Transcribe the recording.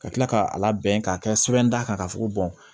Ka tila k'a labɛn k'a kɛ sɛbɛn d'a kan k'a fɔ ko